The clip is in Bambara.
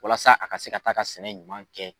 Walasa a ka se ka taa ka sɛnɛ ɲuman kɛ.